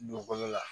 Dugukolo la